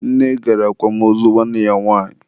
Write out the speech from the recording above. Nne gara akwamozu nwanne ya nwanyi.